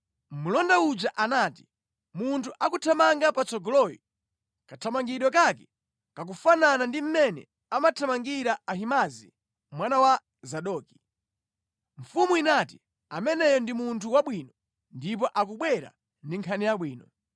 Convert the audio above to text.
Mlonda uja anati, “Munthu akuthamanga patsogoloyo, kathamangidwe kake kakufanafana ndi mmene amathamangira Ahimaazi, mwana wa Zadoki.” Mfumu inati, “Ameneyo ndi munthu wabwino, ndipo akubwera ndi nkhani yabwino.”